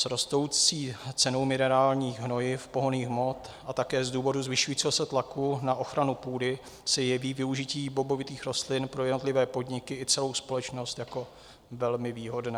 S rostoucí cenou minerálních hnojiv, pohonných hmot a také z důvodu zvyšujícího se tlaku na ochranu půdy se jeví využití bobovitých rostlin pro jednotlivé podniky i celou společnost jako velmi výhodné.